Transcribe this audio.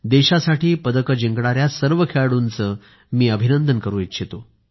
देशासाठी पदक जिंकणाऱ्या सर्व खेळाडूंचे मी अभिनंदन करू इच्छितो